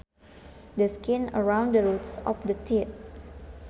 The skin around the roots of the teeth